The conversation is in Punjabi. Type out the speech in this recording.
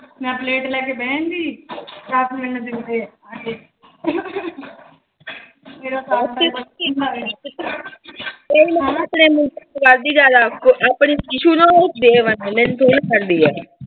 ਮੈਂ ਪਲੇਟ ਲੈ ਕੇ ਬਹਿ ਜਾਂਦੀ।